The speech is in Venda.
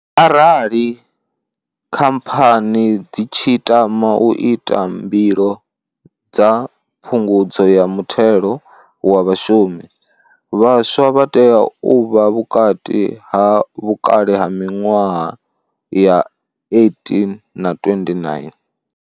Arali khamphani dzi tshi tama u ita mbilo dza phungudzo ya muthelo wa vhashumi, vhaswa vha tea u vha vhukati ha vhukale ha 18 na 29.